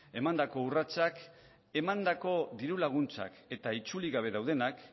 emandako urratsak emandako diru laguntzak eta itzuli gabe daudenak